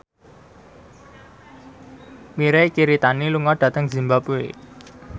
Mirei Kiritani lunga dhateng zimbabwe